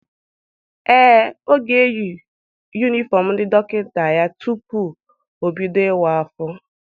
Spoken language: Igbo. Ee, ọ ga-eyi yunifọm ndị dọkịta ya tupu o bido ịwa afọ.